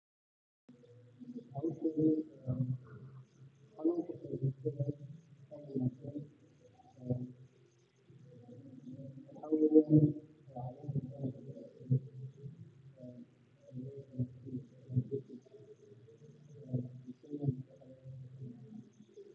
howshan aad bay muhim utahay xoolaa dhaqashada a ama dadka kale si ay meel katiin oga furtan ama xoolahoda kudhaqdan si ay udhirigalyaan ama aya cafimaadkooda kafurtaan ama noloshooda wax ooga qabsadaan si ay beri kamaalin noloshooda wax oogu qabsadan